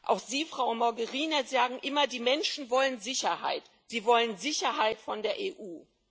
Auch Sie, Frau Mogherini, sagen immer Die Menschen wollen Sicherheit, sie wollen Sicherheit von der EU.